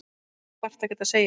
Þú þarft ekkert að segja.